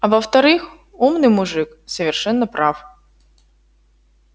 а во-вторых умный мужик совершенно прав